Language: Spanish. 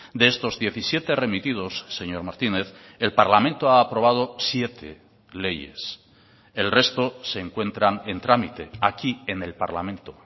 de estos diecisiete remitidos señor martínez el parlamento ha aprobado siete leyes el resto se encuentran en trámite aquí en el parlamento